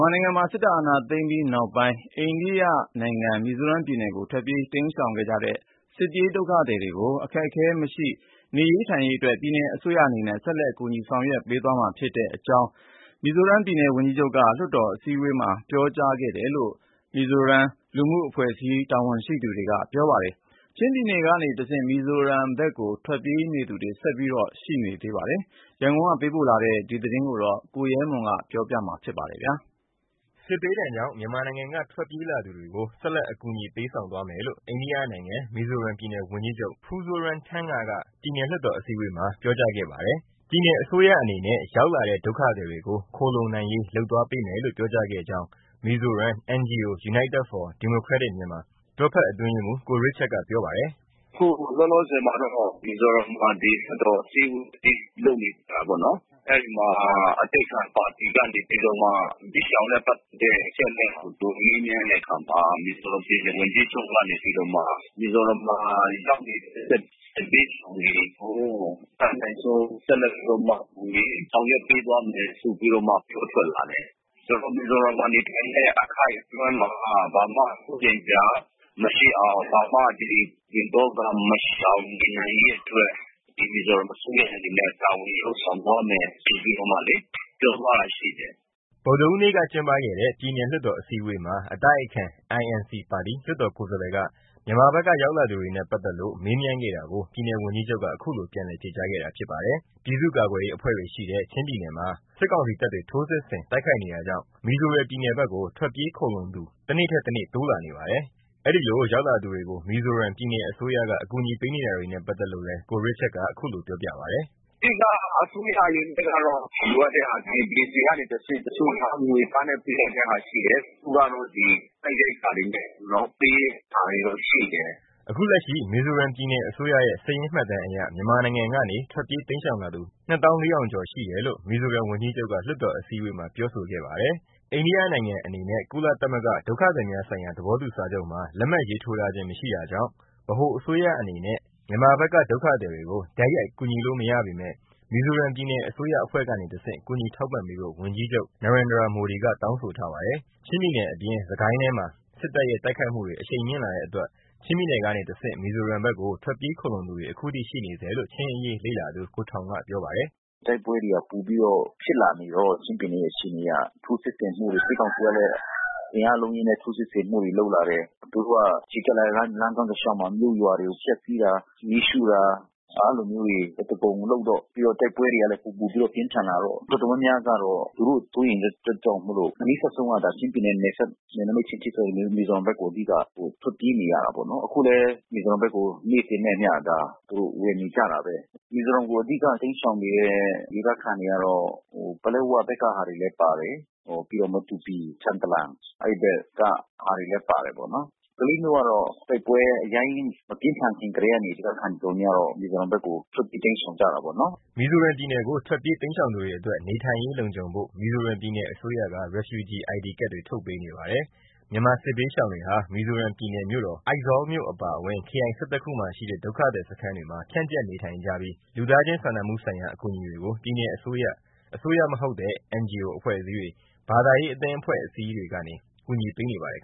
်မာနိုင်ငံမှာ စစ်အာဏာသိမ်းပြီးနောက်ပိုင်း အိန္ဒိယနိုင်ငံ မီဇိုရမ်ပြည်နယ်ကို ထွက်ပြေးတိမ်းရှောင်ခဲ့ကြတဲ့ စစ်ဘေးဒုက္ခသည်တွေကို အခက်အခဲမရှိ နေထိုင်ရေးအတွက် ပြည်နယ်အစိုးရအနေနဲ့ ဆက်လက်ကူညီဆောင်ရွက်ပေးသွားမယ့်အကြောင်း မီဇိုရမ်ပြည်နယ် ဝန်ကြီးချုပ်က လွှတ်တော်အစည်းအဝေးမှာ ပြောကြားခဲ့တယ်လို့ မီဇိုရမ်လူမှုအဖွဲ့အစည်းတာဝန်ရှိသူတွေက ပြောပါတယ်။ လက်ရှိ ချင်းပြည်နယ်အတွင်း စစ်ရေးပဋိပက္ခတွေကြောင့် ချင်းပြည်နယ်ကနေတဆင့် မီဇိုရမ်ဘက်ကို ထွက်ပြေးသူတွေ ဆက်ပြီးရှိနေချိန်မှာ ခုလိုပြောကြားခဲ့တာဖြစ်ပါတယ်။ ဒီအကြောင်းရန်ကုန်ကပေးပို့လာတဲ့သတင်းကို ကိုရဲမွန် ကပြောပြပေးမှာပါ။ စစ်ဘေးဒဏ်ကြောင့် မြန်မာနိုင်ငံက ထွက်ပြေးလာသူတွေကို ဆက်လက်အကူညီပေးဆောင်မယ်လို့ အိန္ဒိယနိုင်ငံ မီဇိုရမ်ပြည်နယ် ဝန်ကြီးချုပ် ပူးဇိုးရမ်းထန်းငါ က ပြည်နယ် လွှတ်တော်အစည်းအဝေးမှာ ပြောကြားခဲ့ပါတယ်။ ပြည်နယ်အစိုးရ အနေနဲ့ ရောက်လာတဲ့ ဒုက္ခသည်တွေကို ခိုလှုံနိုင်ရေး လုပ်ပေးသွားမယ်လို့ ပြောကြားခဲ့ကြောင်း မီဇိုရမ် NGO United for Democratic Myanmar တွဲဖက်အတွင်းရေးမှူး ကိုရစ်ချတ်ကပြောပါတယ်။ “ အခုလောလောဆယ်မှာတော့ မီဇိုရမ်ပြည်နယ်မှာ လွှတ်တော်အစည်းအဝေးကြီးလုပ်နေတာပေါ့နော်။ အဲဒီမှာအတိုက်အခံပါတီ ကနေပြီးတော့မှ စစ်ရှောင်နဲ့ပက်သက်တဲ့ အချက်အလက်တွေကိုမေးမြန်းတဲ့အခါမှာ ပြည်နယ်ဝန်ကြီးချုပ် ကနေပြီးတော့မှ မီဇိုရမ်မှာရောက်နေတဲ့ စစ်ဘေးရှောင်တွေကို အတတ်နိုင်ဆုံး ဆက်လက်ပြီးတော့မှ ကူညီဆောင်ရွက်ပေးသွားမယ်ဆိုပြီးတော့မှ ပြောလာတယ်။ ဆိုတော့ မီဇိုရမ်မှာ နေထိုင်တဲ့အခိုက်အတွင်းမှာ ဘာမှစိုးရိမ်စရာ မရှိအောင် ဘာမှပူပင်သောကမရှိအောင် နေနိုင်ရေးအတွက် မီဇိုရမ်အစိုးရအနေနဲ့တာဝန်ယူလုပ်ဆောင်သွားမယ်ဆိုပြီးမှလေ သူပြောသွားတာရှိတယ်။” ဗုဒ္ဓဟူးနေ့ကကျင်းပခဲ့တဲ့ ပြည်နယ်လွှတ်တော်အစည်းအဝေးမှာ အတိုက်ခံ INC ပါတီ လွှတ်တော်ကိုယ်စာလှယ်က မြန်မာဘက်ကရောက်လာသူတွေနဲ့ ပါတ်သက်လို့ မေးမြန်းခဲ့တာကို ပြည်နယ်ဝန်ကြီးချုပ်က ခုလိုပြန်လည်ဖြေကြားခဲ့တာဖြစ်ပါတယ်။ ပြည်သူ့ကာကွယ်ရေးအဖွဲ့တွေရှိတဲ့ ချင်းပြည်နယ်မှာ စစ်ကောင်စီတပ်တွေ ထိုးစစ်ဆင် တိုက်ခိုက်နေတာကြောင့် မီဇိုရမ်ပြည်နယ်ဘက်ကို ထွက်ပြေးခိုလှုံသူ တနေ့ထက်တနေ့ တိုးလာနေပါတယ်။ အဲဒီလိုရောက်လာသူတွေကို မီဇိုရမ်ပြည်နယ်အစိုးရ အကူအညီပေးနေတာတွေနဲ့ ပါတ်သက်လို့လည်း ကိုရစ်ချတ်က ခုလို ပြောပြပါတယ်။ “အဓိက အစိုးရအနေနဲ့ကတော့ လိုအပ်တဲ့ဟာတွေ DC(Deputy Commissioner) ကနေတဆင့် တချို့ကငွေသားနဲ့ ပေးနိုင်တဲ့ဟာရှိတယ်။ တချို့ကတော့စားနပ်ရိက္ခာတွေနဲ့ ကျွန်တော်တို့ပေးတာတွေရှိတယ်။ ” အခုလက်ရှိ မီဇိုရမ်ပြည်နယ်အစိုးရရဲ့ စာရင်းမှတ်တမ်းအရ မြန်မာနိုင်ငံကနေ ထွက်ပြေးတိမ်းရှောင်လာသူ ၂ သောင်း ၄ ထောင်ကျော် (၂၄၂၈၉) ရှိတယ်လို့ မီဇိုရမ်ဝန်ကြီးချုပ်က လွှတ်တော်အစည်းအဝေးမှာပြောဆိုခဲ့ပါတယ်။ အိန္ဒိယနိုင်ငံအနေနဲ့ ကုလသမဂ္ဂ ဒုက္ခသည်များဆိုင်ရာသဘောတူစာချုပ် (UN Convention on Refugees) မှာ လက်မှတ်ရေးထိုးထားခြင်း မရှိတာကြောင့် ဗဟိုအစိုးရအနေနဲ့ မြန်မာဘက်က ဒုက္ခသည်တွေကို တိုက်ရိုက် ကူညီလို့ မရပေမဲ့ မီဇိုရမ်ပြည်နယ်အစိုးရ အဖွဲ့ကနေတဆင့် ကူညီထောက်ပံ့ပေးဖို့ ပြည်နယ် ဝန်ကြီးချုပ် ကတောင်းဆိုထားပါတယ်။ ချင်းပြည်နယ်အပြင် စစ်ကိုင်းတိုင်းထဲမှာ စစ်တပ်ရဲ့ တိုက်ခိုက်မှုတွေ အရှိန်မြင့်လာတဲ့အတွက် ချင်းပြည်နယ်ကနေတဆင့် မီဇိုရမ်ဘက်ကို ထွက်ပြေးခိုလှုံသူတွေ အခုထိ ရှိနေဆဲလို့ ချင်းအရေးလေ့လာသူ ကိုထောင်ရ်က ပြောပါတယ်။ “ တိုက်ပွဲတွေပိုပြီးတော့မှ ပြင်းထန်နေတော့ ချင်းပြည်နယ်ကထိုးစစ်ဆင်မှုတွေ စစ်ကောင်စီကလဲ အင်အားအလုံးအရင်းနဲ့ထိုးစစ်ဆင်မှုတွေလုပ်လာတယ်။ သူတို့ကချီတက်လာတဲ့လမ်းကြောင်းတလျှောက်မှာ မြို့ရွာတွေကို ဖျက်စီးတာ မီးရှို့တာ။ အဲတာမျိုးတွေအသားကုန်လုပ်တော့ ပြီးတော့တိုက်ပွဲတွေကလဲ ပိုပိုပြင်းထန်လာတော့ တော်တော်များများကတော့ သူတို့စိုးရိမ်တဲ့အတွက်ကြောင့်မိုလို့ အနီးစပ်ဆုံး ကတော့ ချင်းပြည်နယ်ရဲ့နယ်စပ် နယ်နမိတ်ချင်း ထိစပ်နေတဲ့ မီဇိုရမ်ဘက်ကို အဓိကထွက်ပြေးနေရတာပါနော်။ အခုလဲ မီဇိုရမ်ဘက်ကို နေ့စဉ်နဲ့အမျှ ဝင်နေကြတာ ဘဲ။ မီဇိုရမ်ကိုအဓိက တိမ်းရှောင်နေတဲ့ဒေသခံတွေကတော့ ပလက်ဝဘက်ကဟာလဲပါတယ်။ ပြီးတော့ မတူပီ၊ ထန်တလန် အဲဒီဘက်ကဟာတွေလဲပါတာပေါ့နော်။ ကလေးမြို့ကတော့ တိုက်ပွဲအရမ်းကြီးမပြင်းထန်ခင်ကတည်းက ဒေသခံတွေ တော်တော်များများကတော့ မီဇိုရမ်ဘက်ကို ထွက်ပြေးတိမ်းရှောင်ကြတာပေါ့နော်။” မီဇိုရမ်ပြည်နယ်ကို ထွက်ပြေးတိမ်းရှောင်သူတွေအတွက် နေထိုင်ရေးလုံခြုံဖို့ မီဇိုရမ်ပြည်နယ်အစိုးရက Refugee ID ကဒ်တွေ ထုတ်ပေးနေပါတယ်။ မြန်မာစစ်ဘေးရှောင်တွေဟာ မီဇိုရမ်ပြည်နယ်မြို့တော် အိုင်ဇောလ်မြို့အပါအဝင် ခရိုင် ၁၁ ခု မှာရှိတဲ့ ဒုက္ခသည်စခန်းတွေမှာ ဖြန့်ကျက်နေထိုင်ကြပြီး လူသားချင်းစာနာမှုဆိုင်ရာ အကူအညီတွေကို ပြည်နယ်အစိုးရ၊ အစိုးရမဟုတ်တဲ့ (NGO) အဖွဲ့အစည်းတွေ ဘာသာရေးအသင်းအဖွဲ့အစည်းတွေကနေ ကူညီပေးနေပါတယ်